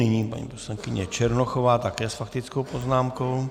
Nyní paní poslankyně Černochová také s faktickou poznámkou.